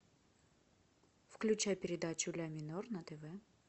включай передачу ля минор на тв